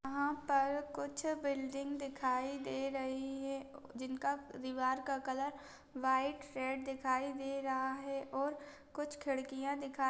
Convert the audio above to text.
यहाँ पर कुछ बिल्डिंग दिखाई दे रही है जिनका दिवार का कलर वाइट रेड दिखाई दे रहा है और कुछ खिड़कियाँ दिखाई --